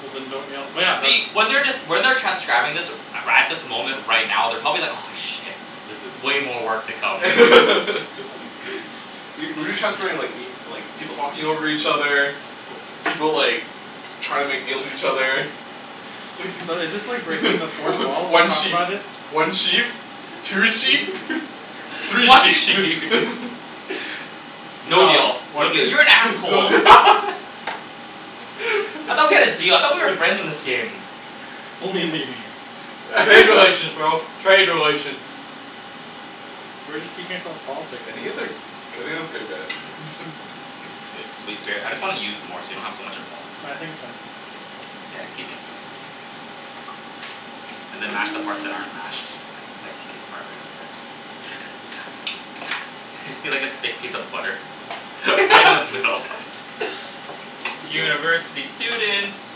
Well then don't yell well yeah the See when they're just when they're transcribing this right at this moment right now they're probably like aw shit. This i- way more work to come. Y- we've been transcribing like y- like people talking over each other. People like trying to make little deals put with the each stem. other. So is this like breaking the fourth wall to One talk sheep about it? one sheep Two sheep three One sheep sheep No deal No, one no deal sheep. you're an no asshole. I thought we had a deal I thought we were friends in this game. Only in the game. Trade relations, bro, trade relations. We're just teaching ourself politics I think it's uh I think it's good guys It's good cuz we bare- I just wanna use more so we don't have so much at home. Well I think it's fine. Mkay, yeah keep mixing it. And then mash the parts that aren't mashed like thick part right over there. see like a thick piece of butter. Right in the middle. Can you keep going University students